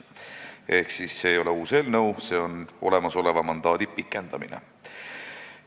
Ehk see ei ole uus eelnõu, vaid olemasoleva mandaadi pikendamine.